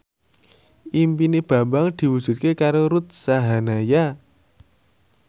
impine Bambang diwujudke karo Ruth Sahanaya